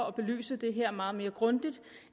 at belyse det her meget mere grundigt